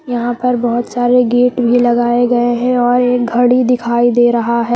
यहां पर बहुत सारे गेट भी लगाए गए हैं और एक घड़ी दिखाई दे रहा है।